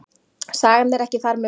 Sagan er ekki þar með búin.